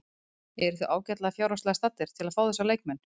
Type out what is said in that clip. Eruð þið ágætlega fjárhagslega staddir til að fá þessa leikmenn?